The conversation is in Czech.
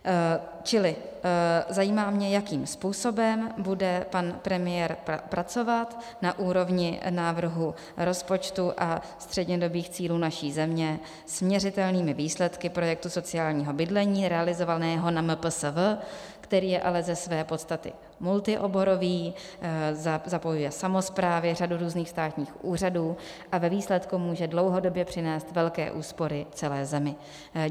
Čili zajímá mě, jakým způsobem bude pan premiér pracovat na úrovni návrhu rozpočtu a střednědobých cílů naší země s měřitelnými výsledky projektu sociálního bydlení realizovaného na MPSV, který je ale ze své podstaty multioborový, zapojuje samosprávy, řadu různých státních úřadů a ve výsledku může dlouhodobě přinést velké úspory celé zemi.